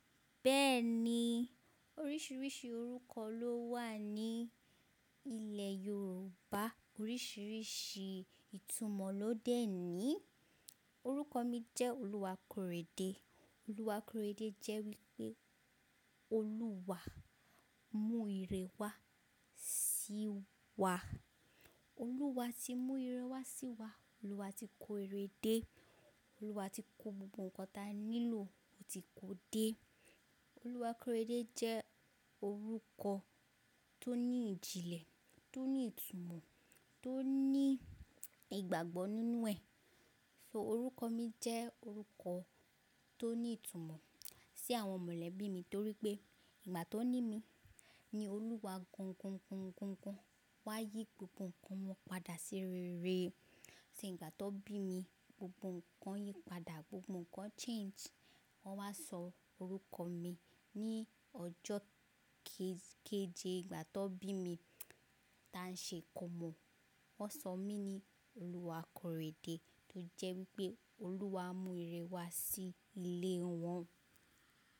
Bẹ́ẹ̀ni oríṣiríṣi orúkọ ló wà ní ilẹ̀ Yorùbá, oríṣiríṣi ìtumọ̀ ló dẹ́ ni. Orúkọ mi jẹ́ Oluwakorede. Oluwakorede jẹ́ wípé Olúwa mú ìrẹ wá sí wa. Olúwa ti mú ìrẹ wá sí wa, Olúwa ti kó ìre dé, Olúwa ti kó gbogbo ǹkan tí a nílò ó ti kó dé. Oluwakorede jẹ́ orúkọ tó ní ìjìnlẹ̀, tó ní ìtumọ̀, tó ní ìgbàgbọ́ nínú ẹ̀. So orúkọ mi jẹ́ orúkọ tó ní ìtumọ̀ sí àwọn mọ̀lẹ́bí mi torí pé ìgbà tó ní mi ni Olúwa gan, gan, gan, gan, gan wá yí gbogbo ǹkan mó padà sí rere. Ìgbà tó bí mi gbogbo ǹkan yí padà, gbogbo ǹkan change wọ́n wá sọ orúkọ mi ní ọjọ́ kéje ìgbà tó bí mi tá n ṣe ìkọ́mọ, wọ́n sọ mí ní Oluwakorede tó jẹ́ wípé Olúwa mú ìrẹ wá sí ilé wọn.